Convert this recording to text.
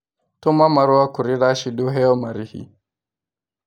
Tũma marũa kũrĩ Rashid ũheo marĩhi